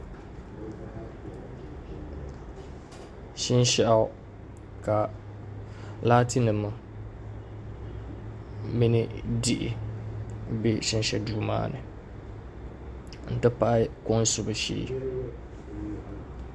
Shinshaɣu ka laati nim mini diɣi bɛ shinshɛ duuu maa ni n ti pahi kom subu shee